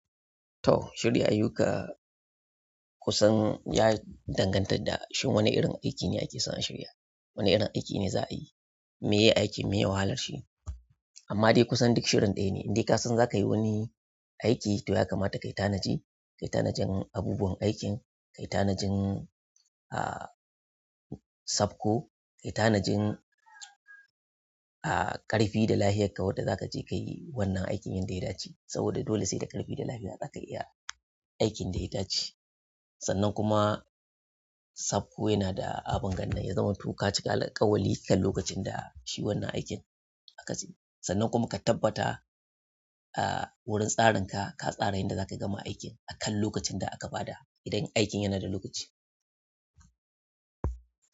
To, shirya ayyuka kusan ya danganta da shin wane irin aiki ne ake so a shirya. Wane irin aiki ne za a yi, me yake aiki, me ya wahalar shi. Amma dai kusan duk shirin ɗaya ne. Indai ka san zaka yi wani aiki to ya kamata ka yi tanaji, ka yi tanajin abubuwan aikin, ka yi tanajin, ah, safko, ka yi tanajin, ah, ƙarfi da lafiyarka wadda za ka je ka yi wannan aikin yadda ya dace. Saboda dole sai da ƙarfi da lafiya zaka iya aikin da ya dace. Sannan kuma safko yana da abin gani, ya zama to ka cika ƙawali akan lokacin da shi wannan aikin aka ce. Sannan kuma ka tabbata, ah, wurin tsarin ka, ka tsara yadda za ka gama aikin akan lokacin da aka ba da idan aikin yana da lokaci.